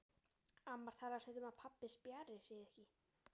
Amma talar stundum um að pabbi spjari sig ekki.